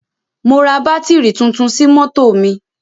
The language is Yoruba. Mo ra bátírì tuntun sí mọ́tò mi.